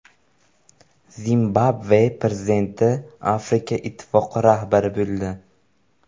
Zimbabve prezidenti Afrika ittifoqi rahbari bo‘ldi.